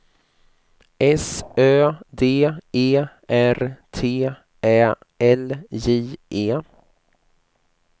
S Ö D E R T Ä L J E